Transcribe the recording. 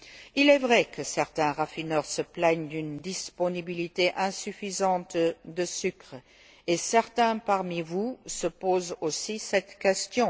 Il est vrai que certains raffineurs se plaignent d'une disponibilité insuffisante de sucre, et certains parmi vous se posent aussi cette question.